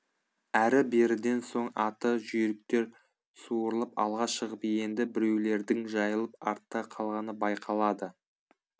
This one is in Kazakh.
әрі беріден соң аты жүйріктер суырылып алға шығып енді біреулердің жайылып артта қалғаны байқалады